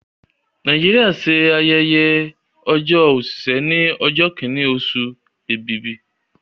Nàìjíríà ṣe ayẹyẹ ọjọ́ òṣìṣẹ́ ní ọjọ́ kìíní oṣù Èbìbì